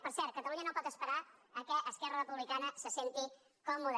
per cert catalunya no pot esperar que esquerra republicana se senti còmoda